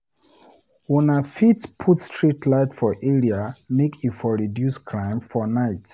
Una fit put street lite for area make e for reduce crime for nite.